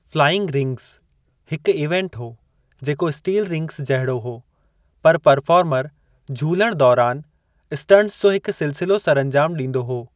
Flying rings हिकु event हो, जेको स्टील रिंग्ज़ जहिड़ो हो, पर परफ़ॉर्मर झूलणु दौरान स्टंटस जो हिकु सिलसिलो सरअंजाम ॾींदो हो।